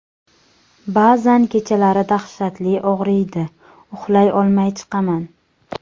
Ba’zan kechalari dahshatli og‘riydi, uxlay olmay chiqaman.